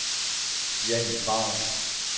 Jannik Ravn